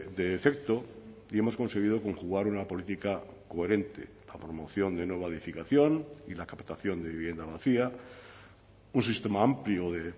de efecto y hemos conseguido conjugar una política coherente la promoción de nueva edificación y la captación de vivienda vacía un sistema amplio de